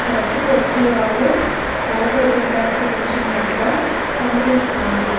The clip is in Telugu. చర్చి కి వచ్చేవారు ఫోటో దిగడానికి నీచునట్టుగా కనిపిస్తున్నారు.